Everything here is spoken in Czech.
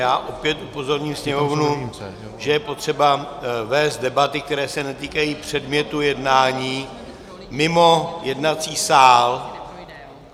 Já opět upozorním sněmovnu, že je potřeba vést debaty, které se netýkají předmětu jednání, mimo jednací sál!